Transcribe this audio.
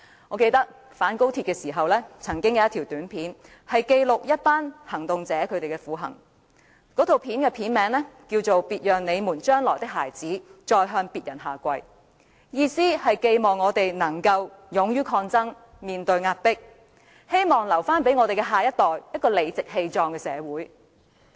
我記得在反高鐵時，曾經有段短片記錄了一群行動者的苦行，影片名稱是"別讓你們將來的孩子，再向別人下跪"，意思是寄望我們面對壓迫時能勇於抗爭，為下一代留下一個理直氣壯的社會。